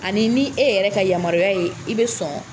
Ani ni e yɛrɛ ka yamaruya ye i bɛ sɔn.